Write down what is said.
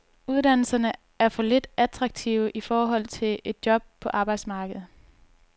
Uddannelserne er for lidt attraktive i forhold til et job på arbejdsmarkedet.